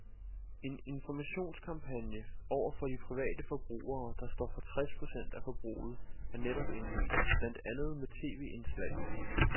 En informationskampagne over for de private forbrugere, der står for tres procent af forbruget, er netop indledt, blandt andet med tv-indslag.